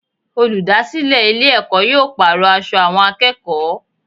Olùdásílè Ilé èkó yóò pàrò aṣọ àwọn akéèkòó